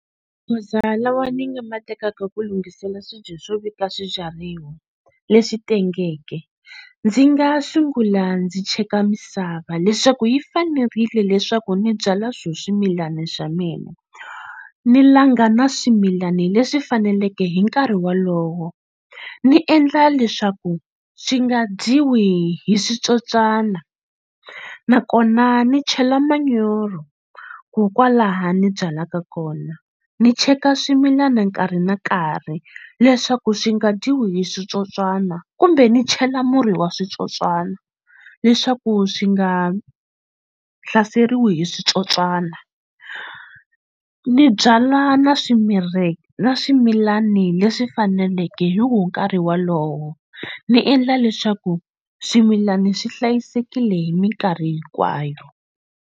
Magoza lawa ni nga ma tekaka ku lunghisela swibye swo veka swibyariwa leswi tengeke ndzi nga sungula ndzi cheka misava leswaku yi fanerile leswaku ni byalwa swona swimilana swa mina ni langa na swimilani leswi faneleke hi nkarhi wolowo ni endla leswaku swi nga dyiwi hi switsotswana nakona ni chela manyoro ku kwalaho ni byalaka kona ni cheka swimilana nkarhi na nkarhi leswaku swi nga dyiwi hi switsotswana kumbe ni chela murhi wa switsotswana leswaku swi nga hlaseriwi hi switsotswana ni byala na na swimilani leswi faneleke hi wo nkarhi wolowo ni endla leswaku swimilana swi hlayisekile hi mikarhi hinkwayo.